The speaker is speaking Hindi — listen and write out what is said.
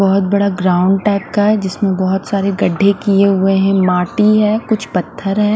बोहोत बड़ा ग्राउंड टाइप का है जिसमे बोहोत सारे गढे किये हुए है माटी है कुछ पत्थर है।